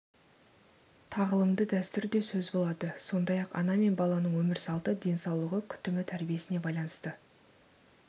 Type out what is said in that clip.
тағылымды дәстүр де сөз болады сондай-ақ ана мен баланың өмір салты денсаулығы күтімі тәрбиесіне байланысты